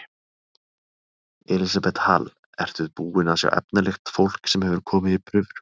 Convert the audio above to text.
Elísabet Hall: Ertu búinn að sjá efnilegt fólk sem hefur komið í prufur?